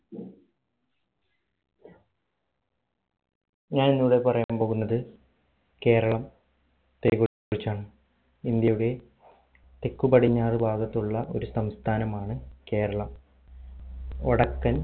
ഞാൻ ഇന്ന് ഇവിടെ പറയാൻ പോകുന്നത് കേരളം യത്തെ കുറിച്ചാണ് ഇന്ത്യയുടെ തെക്ക് പടിഞ്ഞാറ് ഭാഗത്തുള്ള ഒരു സംസ്ഥാനമാണ് കേരളം വടക്കൻ